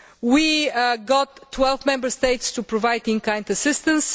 in Pakistan. We got 12 Member States to provide in kind